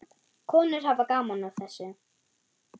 Konur hafa gaman af þessu.